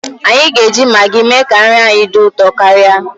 Anyi ga-eji Magi mee ka nri anyị dị ụtọ karịa.